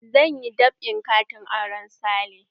Zan yi dab'in katin auren Sale.